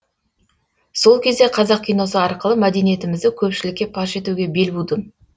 сол кезде қазақ киносы арқылы мәдениетімізді көпшілікке паш етуге бел будым